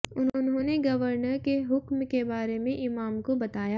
उन्होंने गवर्नर के हुक्म के बारे में इमाम को बताया